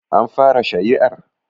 An fara shari'ar?